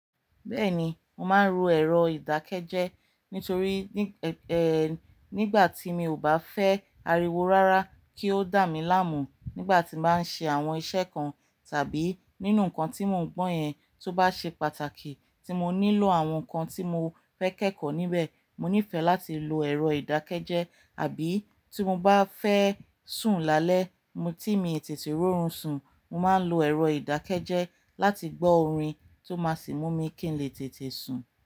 Bẹ́ẹ̀ni, mo máa ń ro ẹ̀rọ ìdákẹ́jẹ́ẹ́ nítorí, e-e-ẹ nígbà tí mi ò bá fẹ́ ariwo rárá kí ó dà mí láàmú nígbà tí mo bá ṣe àwọn iṣẹ́ kan tàbí nínú nǹkan tí mo ń gbọ́ yẹn tó bá ṣe pàtàkì. Tí mo nílò àwọn nǹkan tí mo fẹ́ kẹ́kọ̀ọ́ níbẹ̀, mo nífẹ̀ẹ́ láti lo ẹ̀rọ ìdákẹ́jẹ́ẹ́. Àbí tí mo bá fẹ́ sùn lálẹ́, mo tí mi tètè rórùn sùn, mo máa ń lo ẹ̀rọ ìdákẹ́jẹ́ẹ́ láti gbọ́ orin tó máa sì mú mi kí n lè tètè sùn.